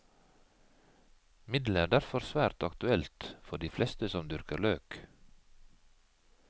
Midlet er derfor svært aktuelt for de fleste som dyrker løk.